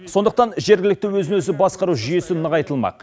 сондықтан жергілікті өзін өзі басқару жүйесі нығайтылмақ